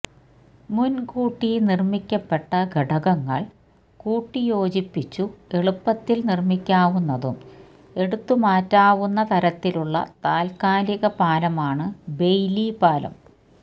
മുൻകൂട്ടി നിർമ്മിക്കപ്പെട്ട ഘടകങ്ങൾ കൂട്ടിയോജിപ്പിച്ചു എളുപ്പത്തിൽ നിർമ്മിക്കാവുന്നതും എടുത്തുമാറ്റാവുന്ന തരത്തിലുള്ള താൽക്കാലിക പാലമാണ് ബെയ്ലി പാലം